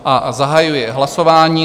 A zahajuji hlasování.